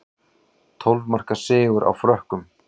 Tólf marka sigur á Frökkum